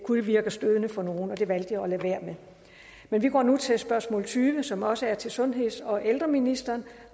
kunne virke stødende for nogle og det valgte jeg at lade være med vi går nu til spørgsmål tyve som også er til sundheds og ældreministeren